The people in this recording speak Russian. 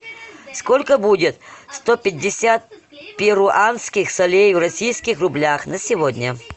сколько будет сто пятьдесят перуанских солей в российских рублях на сегодня